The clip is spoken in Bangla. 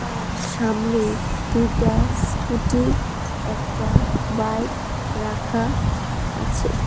আর সামনেই দুইটা স্কুটি একটা বাইক রাখা আছে।